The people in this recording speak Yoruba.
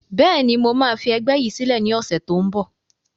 Bẹ́ẹ̀ni, mo máa fi ẹgbẹ́ yìí sílẹ̀ ni ọ̀sẹ̀ tó ń bọ̀